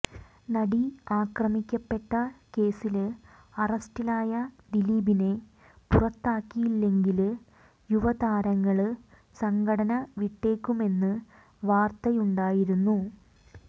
നടി ആക്രമിക്കപ്പെട്ട കേസില് അറസ്റ്റിലായ ദിലീപിനെ പുറത്താക്കിയില്ലെങ്കില് യുവതാരങ്ങള് സംഘടന വിട്ടേക്കുമെന്ന് വാര്ത്തയുണ്ടായിരുന്നു